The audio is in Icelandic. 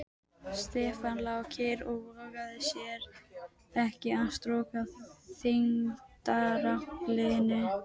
Stefán lá kyrr og vogaði sér ekki að storka þyngdaraflinu.